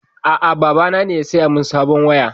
A'a, baba na ne ya saya min sabon waya.